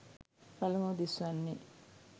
පළමුව දිස්වන්නේ